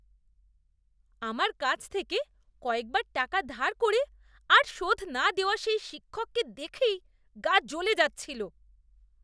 আমার কাছ থেকে কয়েকবার টাকা ধার করে আর শোধ না দেওয়া সেই শিক্ষককে দেখেই গা জ্বলে যাচ্ছিল।